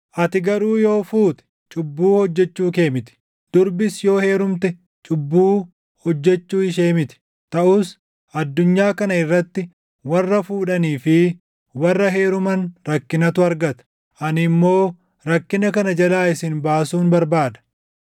Ati garuu yoo fuute cubbuu hojjechuu kee miti; durbis yoo heerumte cubbuu hojjechuu ishee miti. Taʼus addunyaa kana irratti warra fuudhanii fi warra heeruman rakkinatu argata; ani immoo rakkina kana jalaa isin baasuun barbaada.